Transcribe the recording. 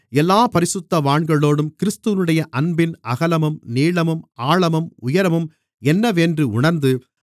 எல்லாப் பரிசுத்தவான்களோடும் கிறிஸ்துவினுடைய அன்பின் அகலமும் நீளமும் ஆழமும் உயரமும் என்னவென்று உணர்ந்து